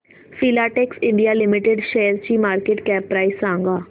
Filatex India limited शेअरची market cap price सांगा